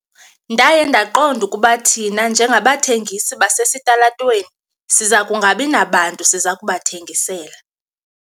Ndaye ndaqonda ukuba thina njengabathengisi basesitalatweni siza kungabi nabantu siza kubathengisela.